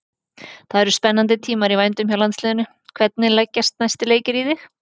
Það eru spennandi tímar í vændum hjá landsliðinu, hvernig leggjast næstu leikir í þig?